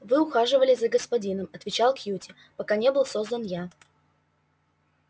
вы ухаживали за господином отвечал кьюти пока не был создан я